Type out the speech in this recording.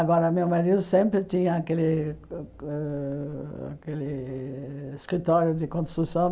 Agora, meu marido sempre tinha aquele ãh ãh aquele eh escritório de construção.